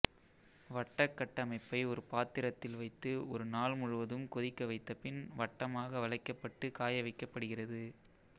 வட்டக்கட்டமைப்பை ஒரு பாத்திரத்தில் வைத்து ஒரு நாள் முழுவதும் கொதிக்க வைத்த பின் வட்டமாக வளைக்கப்பட்டு காய வைக்கப்படுகிறது